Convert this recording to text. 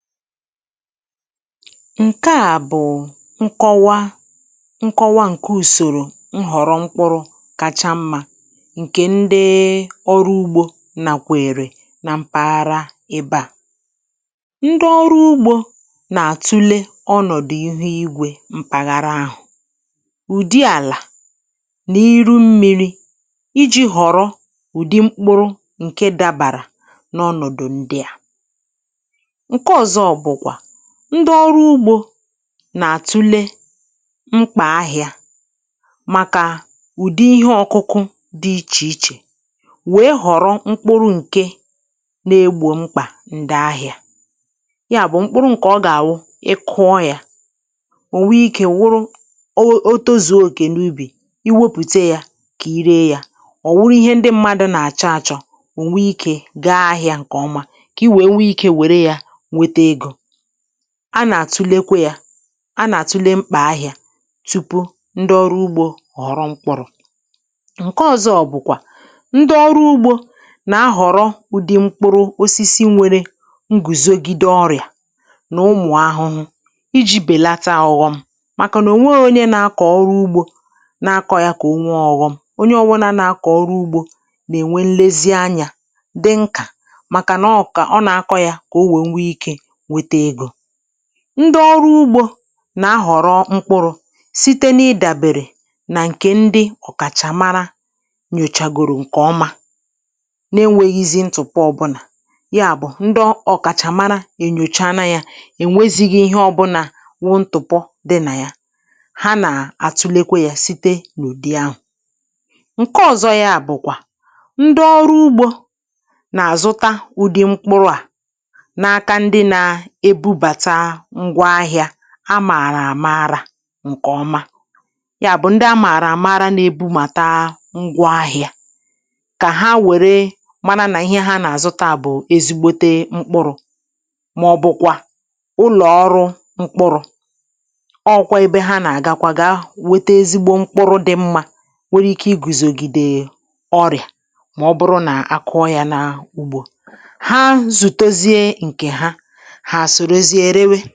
Nke à bụ̀ nkọwa nkọwa ǹke ùsòrò nhọ̀rọ mkpụrụ̇ kacha mmȧ ǹkè ndị ọrụ ugbȯ nakwèrè na mpaghara ebe à. Ndị ọrụ ugbȯ nà-àtụle ọnọ̀dụ̀ ihu igwė mpàghara àhụ, ụ̀dị àlà nà iru mmiri̇ iji̇ họ̀rọ ụ̀dị mkpụrụ̇ ǹke dabàrà n’ọnọ̀dụ̀ ndị à. Nke òzọ́ bụ kwa ndị ọrụ ugbȯ na-àtule mkpà ahịȧ màkà ùdi ihe ọkụkụ dị ichè ichè, wèe họ̀rọ mkpụrụ ǹke na-egbò mkpà ǹdì ahịȧ. Ya bụ̀ mkpụrụ ǹkè ọ gà-awụ; ị kụọ yȧ, ò nwe ikė wụrụ o otozu̇ó okè n’ubì i wepùte ya kà i ree yȧ, ọ̀ wụrụ ihe ndị mmadụ̇ nà-àchọ achọ̀ ò nwe ikė gaa ahịȧ ǹkè ọma, kà i wèe nwe ikė wèrè ya nwetà ego. A nà-àtulekwe ya a nà-àtule mkpà ahịa, tupu ndị ọrụ ugbȯ ghọrọ mkpụrụ̇. Nke ọzọ bụ̀kwà ndị ọrụ ugbȯ nà-ahọ̀rọ ụ̀dị mkpụrụ osisi nwere ngùzogide ọrịà, nà ụmụ̀ ahụhụ iji̇ bèlata ọ̀ghọ̀m; màkà nà ò nwe onye na-akọ ọrụ ugbȯ na-akọ ya kà onwe ọ̀ghọ̀m. Onye ọ wụ nȧ na-akọ ọrụ ugbȯ nà-ènwe nlezi anyȧ, dị nkà màkà nà ọ kà ọ na-akọ̇ ya kà o wee nwe ike nwètè egó. Ndị ọrụ ugbȯ nà-ahọ̀rọ mkpuru̇ site n’ịdàbèrè nà ǹkè ndị ọ̀kàchàmara nyòchagòrò ǹkè ọma, na-enwėghi̇zi ntụ̀pọ ọbụlà. Ya bụ̀ ndị ọ̀kàchàmara è nyòcha na yȧ, è nwezighi ihe ọbụnà wụ ntụ̀pọ dị nà yà. Ha nà-àtụlekwe yȧ site n’ùdi ahụ̀. Nke ọ̀zọ ya bụ̀ kwà ndị ọrụ ugbȯ nà-àzụta ụ̀dị mkpuru à, na àkà ndị na-ebubátà ǹgwa ahị̇ȧ amààrà à maara ǹkè ọma. Yà bụ̇ ndi amààrà àmaara nà-ebu màta ǹgwa ahị̇ȧ, kà ha wère mana nà ihe ha nà-àzụ ta bụ̀ ezigbote mkpụrụ̇, mà ọbụ̇ kwà ụlọ̀ọrụ mkpụrụ; ọkwa ebe ha nà-àgakwa ga wete ezigbo mkpụrụ dị mma nwere ike i gùzògìdè ọrịà, mà ọbụrụ nà akụọ ya na ugbȯ. Hà zùtozie nkè ha, ha sórózié réwẹ́.